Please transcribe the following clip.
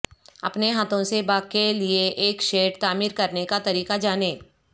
اپنے ہاتھوں سے باغ کے لئے ایک شیڈ تعمیر کرنے کا طریقہ جانیں